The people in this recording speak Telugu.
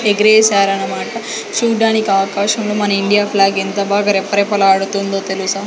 ఎగరేసారన్నమాట చూడడానికి ఆకాశంలో మన ఇండియా ఫ్లాగ్ ఎంత బాగా రెపరెపలాడుతుందో తెలుసా.